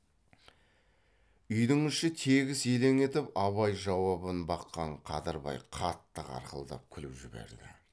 үйдің іші тегіс елең етіп абай жауабын баққан қадырбай қатты қарқылдап күліп жіберді